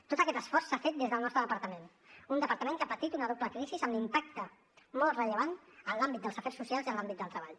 tot aquest esforç s’ha fet des del nostre departament un departament que ha patit una doble crisi amb l’impacte molt rellevant en l’àmbit dels afers socials i en l’àmbit del treball